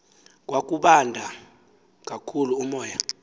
kwakubanda kakhulu umoya